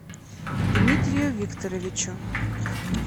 дмитрию викторовичу